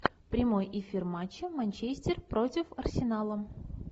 прямой эфир матча манчестер против арсенала